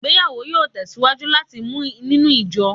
Igbeyawo yoo tesiwaju lati mu ninu ijo